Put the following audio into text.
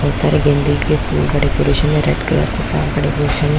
बहुत सारे गेंदे का फूल का डेकोरेशन रेड रेड कलर के फ्लावर्स का डेकोरेशन --